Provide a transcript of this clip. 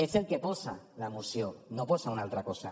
és el que hi posa a la moció no hi posa una altra cosa